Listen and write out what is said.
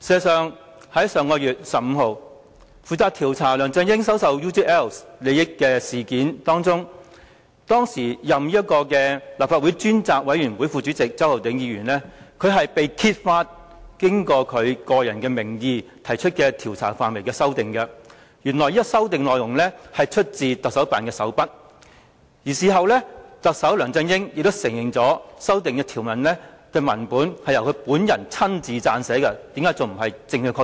上月15日，在負責調查梁振英收受 UGL 利益事件的立法會專責委員會中擔任副主席的周浩鼎議員，被揭發以其個人名義就調查範圍內容提出的修改，原來是出自香港特別行政區行政長官辦公室的手筆，而特首梁振英事後亦承認修訂內容是由他本人親自撰寫的，難道這還不是證據確鑿？